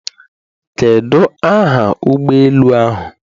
Kedu aha ụgbọ elu ahụ?